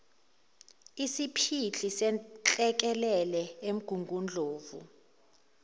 isiphihli senhlekelele emgungundlovu